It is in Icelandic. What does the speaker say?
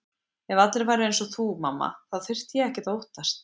Ef allir væru einsog þú mamma þá þyrfti ég ekkert að óttast.